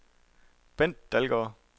Bendt Dalgaard